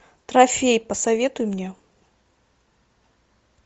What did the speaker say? трофей посоветуй мне